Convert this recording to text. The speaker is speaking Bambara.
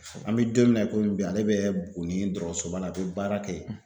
An bɛ don min na i komi bi ale bɛ Buguni dɔgɔtɔrɔsoba la a bɛ baara kɛ yen.